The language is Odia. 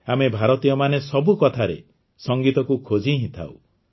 ଆମେ ଭାରତୀୟମାନେ ସବୁ କଥାରେ ସଂଗୀତକୁ ଖୋଜି ହିଁ ଥାଉ